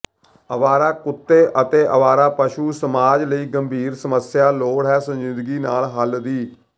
ਅਵਾਰਾ ਕੁੱਤੇ ਅਤੇ ਅਵਾਰਾ ਪਸ਼ੂ ਸਮਾਜ ਲਈ ਗੰਭੀਰ ਸਮੱਸਿਆ ਲੋੜ ਹੈ ਸੰਜੀਦਗੀ ਨਾਲ ਹੱਲ ਦੀ